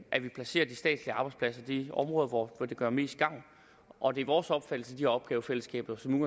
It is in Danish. at vi placerer de statslige arbejdspladser i de områder hvor det gør mest gavn og det er vores opfattelse de opgavefællesskaber som